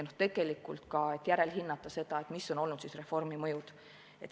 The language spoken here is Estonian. Tegelikult tuleks ka järelhinnata, mis on olnud reformi mõjud.